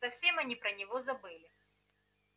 совсем они про него забыли